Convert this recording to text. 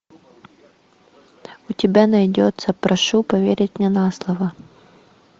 у тебя найдется прошу поверить мне на слово